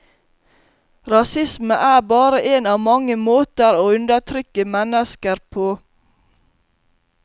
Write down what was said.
Rasisme er bare en av mange måter å undertrykke mennesker på.